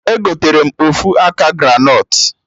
Egotere m ofu aka granọt